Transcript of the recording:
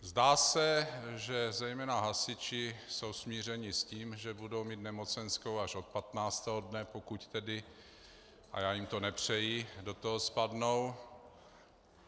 Zdá se, že zejména hasiči jsou smířeni s tím, že budou mít nemocenskou až od 15. dne, pokud tedy - a já jim to nepřeji - do toho spadnou.